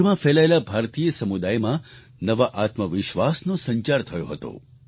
વિશ્વભરમાં ફેલાયેલા ભારતીય સમુદાયમાં નવા આત્મવિશ્વાસનો સંચાર થયો હતો